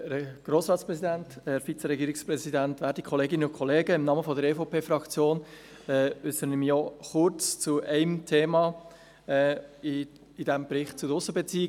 Im Namen der EVP-Fraktion äussere ich mich auch kurz zu einem Thema in diesem Bericht zu den Aussenbeziehungen;